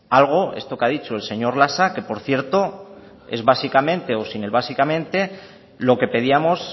algo esto que ha dicho el señor lasa que por cierto es básicamente o sin el básicamente lo que pedíamos